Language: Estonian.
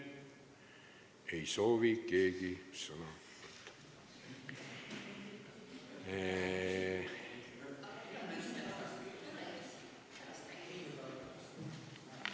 Ei soovi keegi sõna võtta.